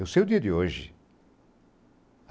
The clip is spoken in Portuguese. Eu sei o dia de hoje.